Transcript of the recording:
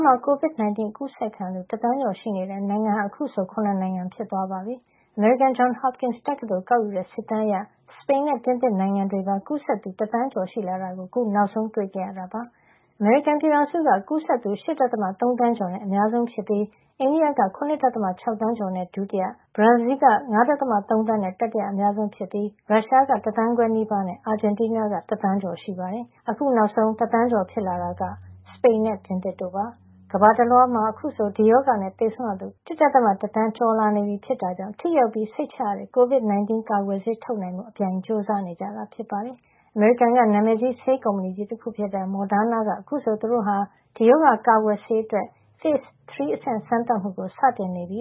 းမှာ COVID-19 အကူးစက်ခံရသူ တသန်းကျော်ရှိနေတဲ့ နိုင်ငံဟာ အခုဆို ၇ နိုင်ငံ ဖြစ်သွားပါပြီ။ အမေရိကန် Johns Hopkins တက္ကသိုလ်က ကောက်ယူတဲ့ စစ်တမ်းအရ စပိန်နဲ့ ပြင်သစ်နိုင်ငံတွေမှာပါ ကူးစက်သူ တသန်းကျော်ရှိလာတာကို အခု နောက်ဆုံး တွေ့ရှိခဲ့ရတာပါ။ အမေရိကန်ပြည်ထောင်စုက ကူးစက်သူ ၈.၃ သန်းကျော်နဲ့ အများဆုံးဖြစ်ပြီး အိန္ဒိယက ၇.၆ သန်းကျော်နဲ့ ဒုတိယ၊ ဘရာဇီးလ်က ၅.၃ သန်းနဲ့ တတိယအများဆုံး ဖြစ်ပြီး ရုရှားက တသန်းခွဲနီးပါးနဲ့ အာဂျင်တီးနားက တသန်းကျော် ရှိနေတာပါ။ အခုနောက်ဆုံး ကူးစက်သူ တသန်းကျော် ဖြစ်လာတာက အနောက်ဥရောပက စပိန်နဲ့ ပြင်သစ်တို့ ဖြစ်ပါတယ်။ ကမ္ဘာတလွှား မှာ အခုဆို ဒီရောဂါနဲ့ သေဆုံးရသူ ၁.၁ သန်းကျော် လာနေပြီ ဖြစ်တာကြောင့် ထိရောက်ပြီး စိတ်ချရတဲ့ COVID-19 ကာကွယ်ဆေး ထုတ်နိုင်ဖို့အပြိုင်ကြိုးစား နေကြတာ ဖြစ်ပါတယ်။ အမေရိကန်က နာမည်ကြီး ဆေးကုမ္ပဏီကြီး တခုဖြစ်တဲ့ Moderna က အခုဆို သူတို့ဟာ ဒီရောဂါ ကာကွယ်ဆေး အတွက် Phase 3 အဆင့် စမ်းသပ်မှုကို စတင်နေပြီ